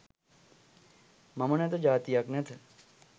මම නැත ජාතියක් නැත